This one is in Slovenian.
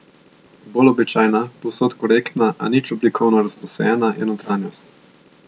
Bolj običajna, povsod korektna, a nič oblikovno razposajena je notranjost.